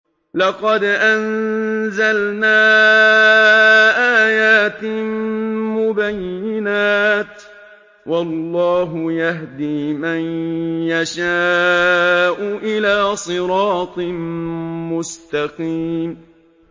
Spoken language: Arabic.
لَّقَدْ أَنزَلْنَا آيَاتٍ مُّبَيِّنَاتٍ ۚ وَاللَّهُ يَهْدِي مَن يَشَاءُ إِلَىٰ صِرَاطٍ مُّسْتَقِيمٍ